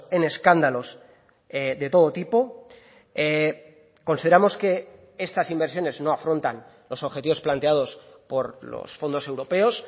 en escándalos de todo tipo consideramos que estas inversiones no afrontan los objetivos planteados por los fondos europeos